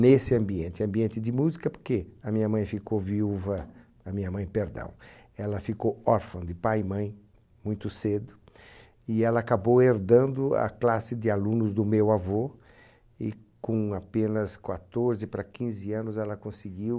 nesse ambiente ambiente de música porque a minha mãe ficou viúva a minha mãe perdão ela ficou órfã de pai e mãe muito cedo e ela acabou herdando a classe de alunos do meu avô e com apenas quatorze para anos ela conseguiu